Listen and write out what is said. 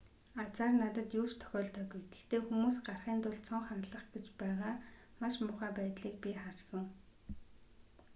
азаар надад юу ч тохиолдоогүй гэхдээ хүмүүс гарахын тулд цонх хагалах гэж байгаа маш муухай байдлыг би харсан